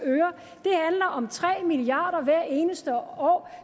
øre om tre milliard kroner hvert eneste år